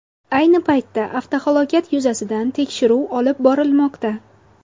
Ayni paytda avtohalokat yuzasidan tekshiruv olib borilmoqda.